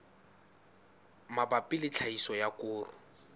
mabapi le tlhahiso ya koro